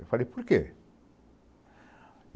Eu falei, por quê?